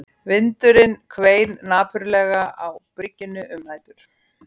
Vindurinn hvein napurlega á byggingunni um nætur